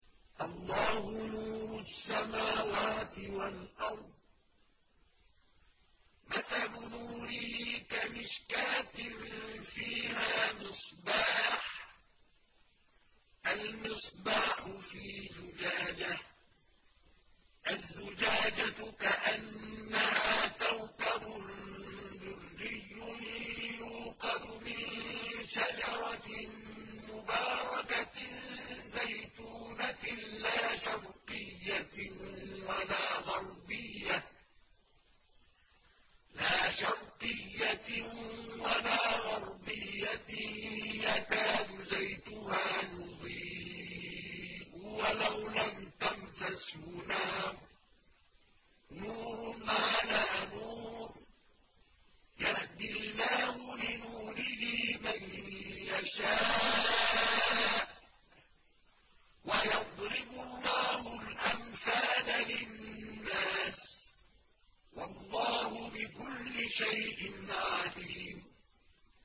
۞ اللَّهُ نُورُ السَّمَاوَاتِ وَالْأَرْضِ ۚ مَثَلُ نُورِهِ كَمِشْكَاةٍ فِيهَا مِصْبَاحٌ ۖ الْمِصْبَاحُ فِي زُجَاجَةٍ ۖ الزُّجَاجَةُ كَأَنَّهَا كَوْكَبٌ دُرِّيٌّ يُوقَدُ مِن شَجَرَةٍ مُّبَارَكَةٍ زَيْتُونَةٍ لَّا شَرْقِيَّةٍ وَلَا غَرْبِيَّةٍ يَكَادُ زَيْتُهَا يُضِيءُ وَلَوْ لَمْ تَمْسَسْهُ نَارٌ ۚ نُّورٌ عَلَىٰ نُورٍ ۗ يَهْدِي اللَّهُ لِنُورِهِ مَن يَشَاءُ ۚ وَيَضْرِبُ اللَّهُ الْأَمْثَالَ لِلنَّاسِ ۗ وَاللَّهُ بِكُلِّ شَيْءٍ عَلِيمٌ